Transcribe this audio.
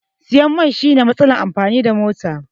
Siyan mai shine matsalar amfani da mota